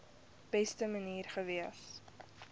beste manier gewees